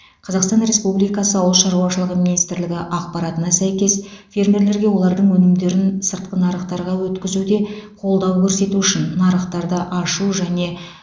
қазақстан республикасы ауыл шаруашылығы министрлігі ақпаратына сәйкес фермерлерге олардың өнімдерін сыртқы нарықтарға өткізуде қолдау көрсету үшін нарықтарды ашу және